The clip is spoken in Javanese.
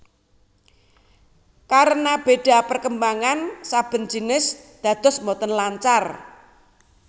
Karena béda perkembangan saben jinis dados boten lancar